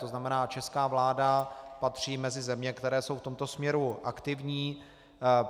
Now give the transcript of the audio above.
To znamená, česká vláda patří mezi země, které jsou v tomto směru aktivní.